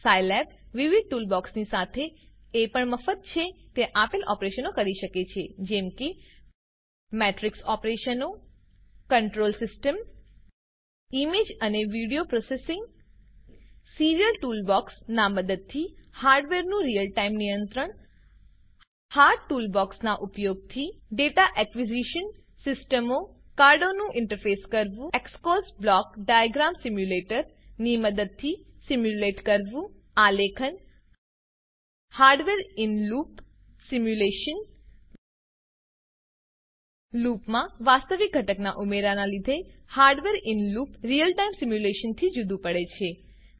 Scilab વિવિધ ટૂલબોક્સોની સાથે એ પણ મફત છે તે આપેલ ઓપરેશનો કરી શકે છે જેમ કે મેટ્રીક્સ ઓપરેશનો કન્ટ્રોલ સીસ્ટમ ઈમેજ અને વિડીઓ પ્રોસેસિંગ સીરીયલ ટૂલબોક્સ નાં મદદથી હાર્ડવેરનું રીયલ ટાઈમ નિયંત્રણ હાર્ટ ટૂલબોક્સ ના ઉપયોગ થી ડેટા એકવીઝીશન સિસ્ટમોકાર્ડો નું ઇન્ટરફેસ કરવું એક્સકોસ બ્લોક ડાયાગ્રામ સીમ્યુંલેટર ની મદદથી સીમ્યુંલેટ કરવું આલેખન હાર્ડવેર ઇન લૂપ સીમ્યુંલેશન લૂપમાં વાસ્તવિક ઘટકનાં ઉમેરાનાં લીધે hardware in loop real time સીમ્યુંલેશનથી જુદું પડે છે